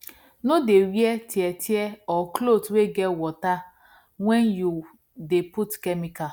no dey wear tear tear or cloth wey get water wen you dey put chemical